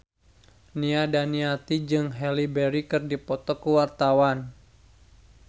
Nia Daniati jeung Halle Berry keur dipoto ku wartawan